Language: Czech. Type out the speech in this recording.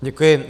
Děkuji.